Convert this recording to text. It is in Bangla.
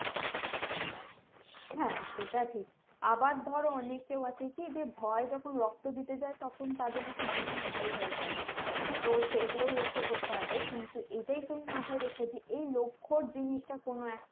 হ্যাঁ সেটা ঠিক আবার ধরো অনেকেই আছে কি ভয় যখন রক্ত দিতে যাই তখন তাদের bp high হয়ে যাই তো সেই গুলো লক্ষ করতে হবে কিন্তু এটাই তুমি মাথায় রেখো এই লক্ষর জিনিসটা কোনো এক